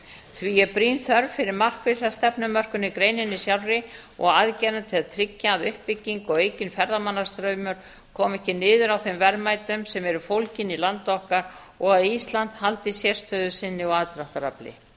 því er brýn þörf fyrir markvissa stefnumörkun í greininni sjálfri og aðgerðum til að tryggja að uppbygging og aukinn ferðamannastraumur komi ekki niður á þeim verðmætum sem eru fólgin í landi okkar og að ísland haldi sérstöðu sinni og aðdráttarafli